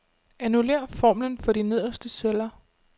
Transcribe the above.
Annullér formlen for de nederste celler.